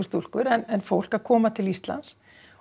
stúlkur en fólk að koma til Íslands